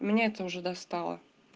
меня это уже достало